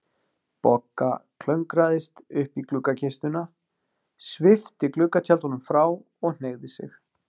Bogga klöngraðist upp í gluggakistuna, svipti gluggatjöldunum frá og hneigði sig.